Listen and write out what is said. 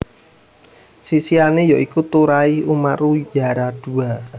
Sisihane ya iku Turai Umaru Yaradua